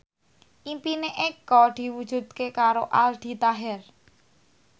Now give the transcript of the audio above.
impine Eko diwujudke karo Aldi Taher